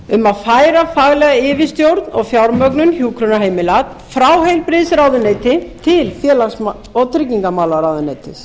um að færa faglega yfirstjórn og fjármögnun hjúkrunarheimila frá heilbrigðisráðuneyti til félags og tryggingamálaráðuneytis